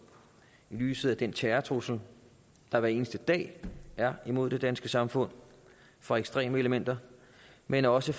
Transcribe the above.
i lyset af den terrortrussel der hver eneste dag er imod det danske samfund fra ekstreme elementer men også